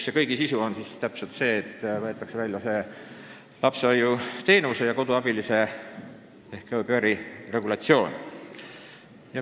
Nende kõigi sisu on lapsehoidja-koduabilise teenuse ehk au pair'i regulatsioon, mida tahetakse eelnõust välja võtta.